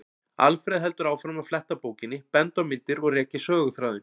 Alfreð heldur áfram að fletta bókinni, benda á myndir og rekja söguþráðinn.